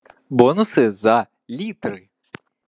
бонусы за литры